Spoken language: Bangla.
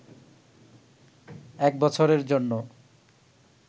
এক বছরের জন্যে